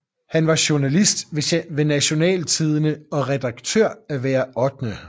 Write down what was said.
Han var journalist ved Nationaltidende og redaktør af Hver 8